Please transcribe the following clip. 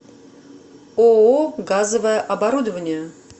ооо газовое оборудование